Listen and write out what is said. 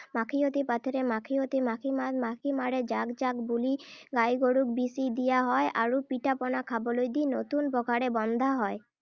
মাখিয়তী পাতৰে মাখিয়তী মাখিপাত মাখি মাৰো জাক-জাক বুলি গাই গৰুক বিছি দিয়া হয় আৰু পিঠা-পনা খাবলৈ দি নতুন পঘাৰে বন্ধা হয়।